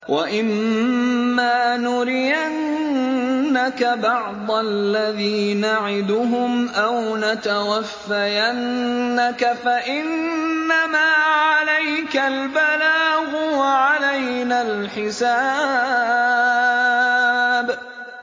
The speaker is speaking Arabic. وَإِن مَّا نُرِيَنَّكَ بَعْضَ الَّذِي نَعِدُهُمْ أَوْ نَتَوَفَّيَنَّكَ فَإِنَّمَا عَلَيْكَ الْبَلَاغُ وَعَلَيْنَا الْحِسَابُ